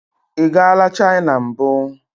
Ị gala China mbụ?